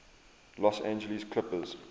los angeles clippers